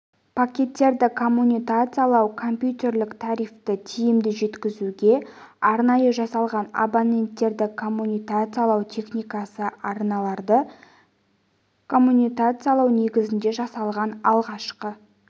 пакеттерді коммутациялау компьютерлік трафикті тиімді жеткізуге арнайы жасалған абоненттерді коммутациялау техникасы арналарды коммутациялау негізінде жасалған алғашқы